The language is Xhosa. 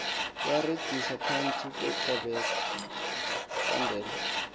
iyarhexiswa phantsi kwecandelo